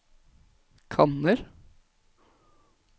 kanner